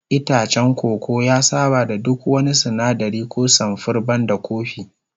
Itacen koko ya saba da duk wani sinadari ko samfur banda kofi